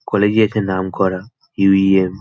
College - এ এটা নাম করা ইউ. ই. এম. ।